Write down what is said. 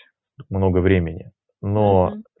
много времени но